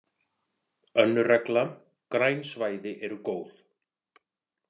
Önnur regla: Græn svæði eru góð.